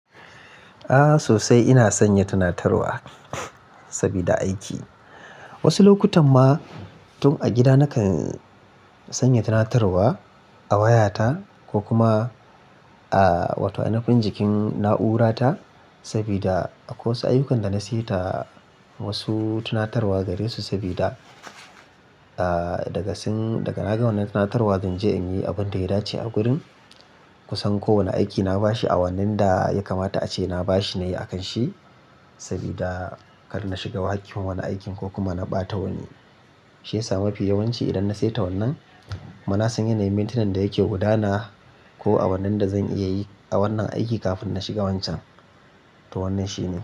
A'a sosai ina sanya tunatarwa sabida aiki. Wasu lokutan ma tun a gida nakan sanya tunatarwa a wayata ko kuma a wata inafun jikin na'urata sabida akwai wasu ayyukan da na seta wasu tunatarwa gare su sabida daga nagan wannan tunatarwa zan je in yi abun da ya dace a gurin. Kusan kowane aiki na bashi a wannan da ya kamata ace na bashi na yi a kan shi sabida kar na shiga waki wannan aikin ko kuma na ɓata wani shaida. Mafi yawanci idan na seta wannan, mana zan iya na yi maintenance da yake gudana ko a wannan da zan iya yi a wannan aiki kafin na shiga wancan to wannan shine.